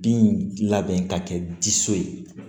Bin labɛn ka kɛ diso ye